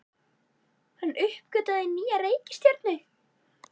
Hann uppgötvaði nýja reikistjörnu!